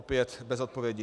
Opět bez odpovědi.